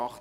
SiK